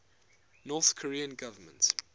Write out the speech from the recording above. north korean government